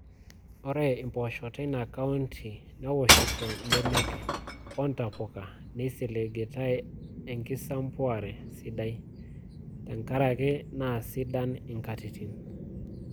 Ore mpoosho teina kaunti newoshito benek o ntapuka neisiligitai enkisampuare sidai tenkaraki naa sidan nkatitin.